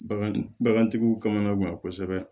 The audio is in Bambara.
Bagan bagantigiw kana gan kosɛbɛ